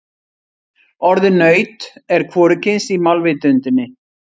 Orðið naut er hvorugkyns í málvitundinni.